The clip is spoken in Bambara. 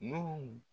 Nun